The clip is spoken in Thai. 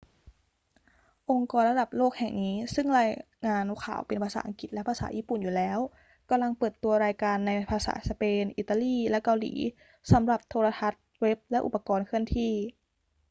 องค์กรระดับโลกแห่งนี้ซึ่งรายงานข่าวเป็นภาษาอังกฤษและภาษาญี่ปุ่นอยู่แล้ว กำลังเปิดตัวรายการในภาษาสเปน อิตาลี และเกาหลี สำหรับโทรทัศน์ เว็บ และอุปกรณ์เคลื่อนที่